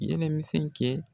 Yɛlɛ misɛn kɛ.